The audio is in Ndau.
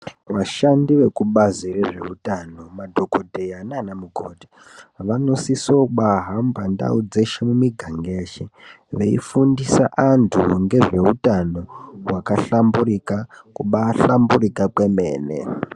Vashandi vekubazi rezveutano madhokodheya naanamukoti vanosisobaahamba ndau dzeshe miganga yeshe veifundisa antu ngezveutano hwakahlamburika, kubaahlambirika kwemene.